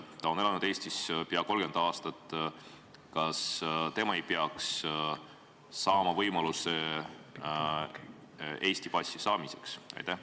Ta on elanud Eestis peaaegu 30 aastat – kas tema ei peaks saama võimalust Eesti passi saamiseks?